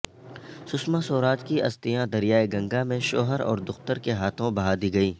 سشما سوراج کی استھیاں دریائے گنگا میں شوہر اور دختر کے ہاتھوں بہادی گئیں